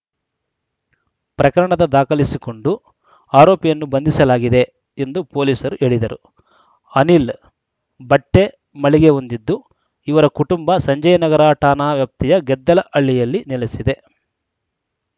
ಪ್ರಕರಣದ ದಾಖಲಿಸಿಕೊಂಡು ಆರೋಪಿಯನ್ನು ಬಂಧಿಸಲಾಗಿದೆ ಎಂದು ಪೊಲೀಸರು ಹೇಳಿದರು ಅನಿಲ್‌ ಬಟ್ಟೆಮಳಿಗೆ ಹೊಂದಿದ್ದು ಇವರ ಕುಟುಂಬ ಸಂಜಯನಗರ ಠಾಣಾ ವ್ಯಾಪ್ತಿಯ ಗೆದ್ದಲಹಳ್ಳಿಯಲ್ಲಿ ನೆಲೆಸಿದೆ